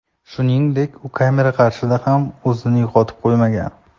Shuningdek, u kamera qarshisida ham o‘zini yo‘qotib qo‘ymagan.